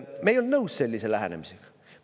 Me ei olnud nõus sellise lähenemisega.